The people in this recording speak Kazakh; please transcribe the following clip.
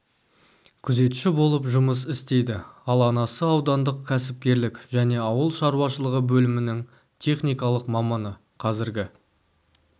күзетші болып жұмыс істейді ал анасы аудандық кәсіпкерлік және аулы шаруашылығы бөлімінің техникалық маманы қазіргі